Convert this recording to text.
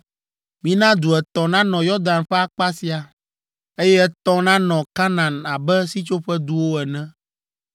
Mina du etɔ̃ nanɔ Yɔdan ƒe akpa sia, eye etɔ̃ nanɔ Kanaan abe Sitsoƒeduwo ene.